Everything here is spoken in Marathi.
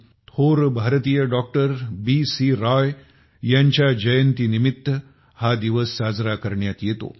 देशाचे थोर डॉक्टर बीसी राय यांच्या जयंतीनिमित्त हा दिवस साजरा करण्यात येतो